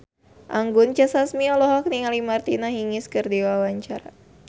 Anggun C. Sasmi olohok ningali Martina Hingis keur diwawancara